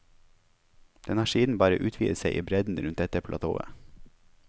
Den har siden bare utvidet seg i bredden rundt dette platået.